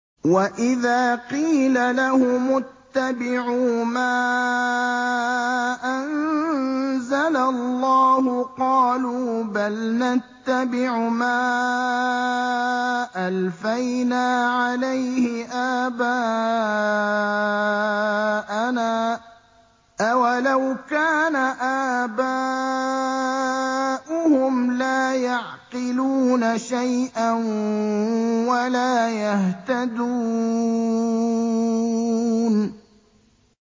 وَإِذَا قِيلَ لَهُمُ اتَّبِعُوا مَا أَنزَلَ اللَّهُ قَالُوا بَلْ نَتَّبِعُ مَا أَلْفَيْنَا عَلَيْهِ آبَاءَنَا ۗ أَوَلَوْ كَانَ آبَاؤُهُمْ لَا يَعْقِلُونَ شَيْئًا وَلَا يَهْتَدُونَ